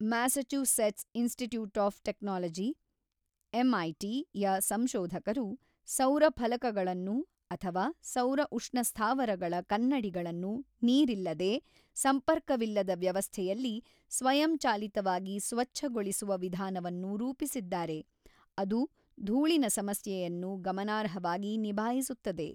Massachusetts Institute of Technology (MIT) ಯ ಸಂಶೋಧಕರು ಸೌರ ಫಲಕಗಳನ್ನು ಅಥವಾ ಸೌರ ಉಷ್ಣ ಸ್ಥಾವರಗಳ ಕನ್ನಡಿಗಳನ್ನು ನೀರಿಲ್ಲದೇ, ಸಂಪರ್ಕವಿಲ್ಲದ ವ್ಯವಸ್ಥೆಯಲ್ಲಿ ಸ್ವಯಂಚಾಲಿತವಾಗಿ ಸ್ವಚ್ಛಗೊಳಿಸುವ ವಿಧಾನವನ್ನು ರೂಪಿಸಿದ್ದಾರೆ, ಅದು ಧೂಳಿನ ಸಮಸ್ಯೆಯನ್ನು ಗಮನಾರ್ಹವಾಗಿ ನಿಭಾಯಿಸುತ್ತದೆ.